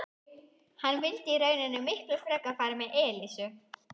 Hann vildi í rauninni miklu frekar fara með Elísu.